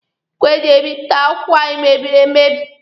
Igwe eji ebipụta akwụkwọ anyị mebiri emebi.